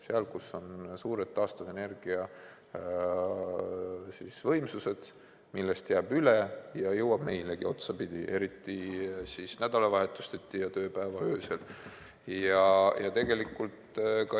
Seal, kus on suured taastuvenergia võimsused, millest jääb üle ja mis jõuab otsapidi meilegi, eriti nädalavahetuseti ja tööpäeva öösel.